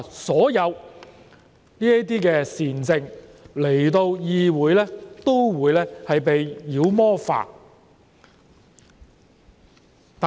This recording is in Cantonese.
所有這些善政來到議會均會被妖魔化。